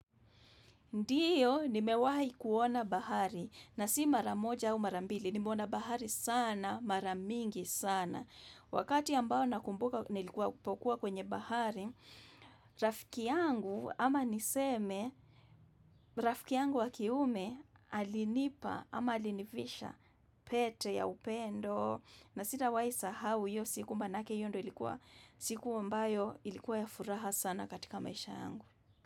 Ndiyo, nimewahi kuona bahari na si maramoja au marambili. Nimeona bahari sana, mara mingi sana. Wakati ambao nakumbuka nilikuwa kwenye bahari, rafiki yangu ama niseme rafiki yangu wakiume alinipa ama alinivisha pete ya upendo na sitawahi sahau hiyo siku manake hiyo ndo ilikuwa siku ambayo ilikuwa ya furaha sana katika maisha yangu.